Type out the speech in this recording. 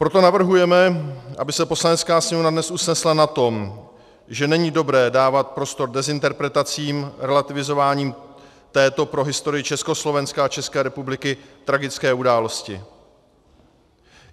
Proto navrhujeme, aby se Poslanecká sněmovna dnes usnesla na tom, že není dobré dávat prostor dezinterpretacím, relativizováním této pro historii Československa a České republiky tragické události.